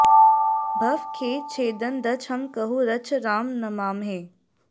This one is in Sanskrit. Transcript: भव खेद छेदन दच्छ हम कहुँ रच्छ राम नमामहे